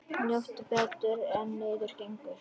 Njóttu betur en niður gengur.